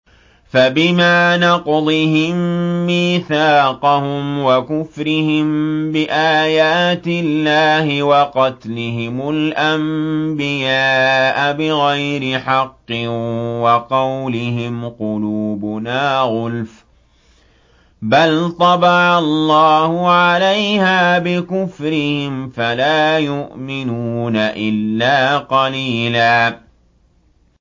فَبِمَا نَقْضِهِم مِّيثَاقَهُمْ وَكُفْرِهِم بِآيَاتِ اللَّهِ وَقَتْلِهِمُ الْأَنبِيَاءَ بِغَيْرِ حَقٍّ وَقَوْلِهِمْ قُلُوبُنَا غُلْفٌ ۚ بَلْ طَبَعَ اللَّهُ عَلَيْهَا بِكُفْرِهِمْ فَلَا يُؤْمِنُونَ إِلَّا قَلِيلًا